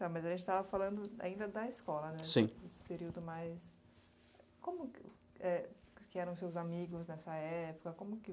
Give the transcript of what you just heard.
Tá, mas a gente estava falando ainda da escola, né, esse período mais... Como, eh, que eram seus amigos nessa época? Como que